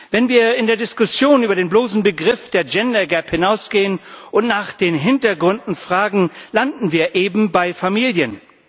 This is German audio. Wenn wir in der Diskussion über den bloßen Begriff des Gender Gap hinausgehen und nach den Hintergründen fragen, landen wir eben bei Familien.